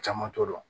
Caman t'o dɔn